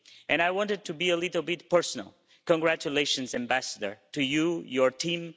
and I wanted to be a little bit personal congratulations, Ambassador, to you, and to your team.